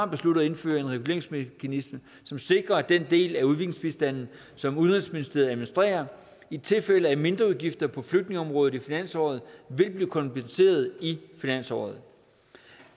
besluttet at indføre en reguleringsmekanisme som sikrer at den del af udviklingsbistanden som udenrigsministeriet administrerer i tilfælde af mindreudgifter på flygtningeområdet i finansåret vil blive kompenseret i finansåret